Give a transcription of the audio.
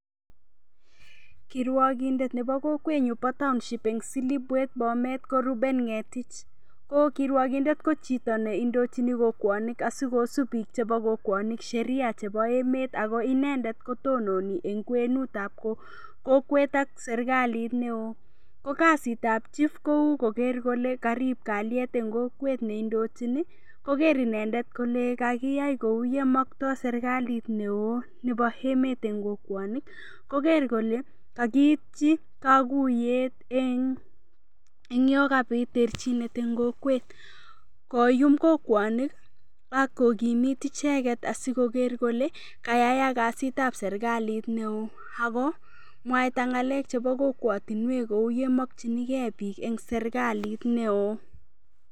Kirwokindet nebo kokwenyuu bo taonship silipwet bomet ko Reuben Ng'etich ko kirwokindet ko chito neindochini kokwonik asikosub biik chebo kokwonik Sheria chebo emet ako inendet kotononi eng' kwenutab kokwet ak serikalit neo ko kasitab chief kou koker kole karib kalyet eng' kokwet neindojini koker inendet kole kakiyai kou yemoktoi serikalit neo nebo emet eng' kokwonik koker kole kakiityi kakuyet eng' yo kabit terchinet eng' kokwet koyum kokwonik akokimit icheget asikoker kole kayayak kasitab serikalit neo akomwaita ng'alek chebo kokwotinwek kou ye mokchingei biik eng' serikalit neo